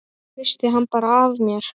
Hristi hann bara af mér.